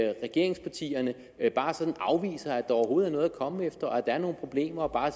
regeringspartierne bare sådan afviser at der overhovedet er noget at komme efter og at der er nogle problemer og bare